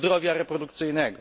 zdrowia reprodukcyjnego.